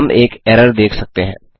हम एक एरर देख सकते हैं